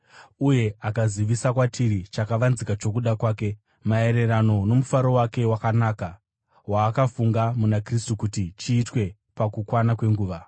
Uye akazivisa kwatiri chakavanzika chokuda kwake, maererano nomufaro wake wakanaka, waakafunga muna Kristu, kuti chiitwe pakukwana kwenguva,